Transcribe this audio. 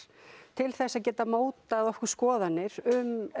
til þess að geta mótað okkur skoðannir um